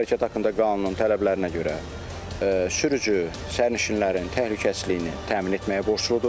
Yol hərəkəti haqqında qanunun tələblərinə görə sürücü sərnişinlərin təhlükəsizliyini təmin etməyə borcludur.